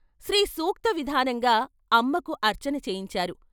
శ్రీ సూక్త విధానంగా అమ్మకు అర్చన చేయించారు.